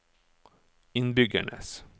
innbyggernes